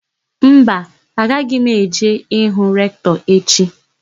Mba, agaghị m eje hụ Rektọ echi.